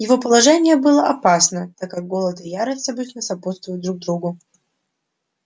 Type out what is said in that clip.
его положение было опасно так как голод и ярость обычно сопутствуют друг другу